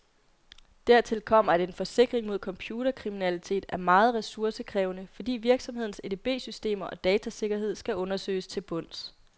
Dertil kommer, at en forsikring mod computerkriminalitet er meget ressourcekrævende, fordi virksomhedens edbsystemer og datasikkerhed skal undersøges til bunds.